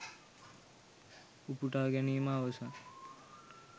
උපුටා ගැනීම අවසන්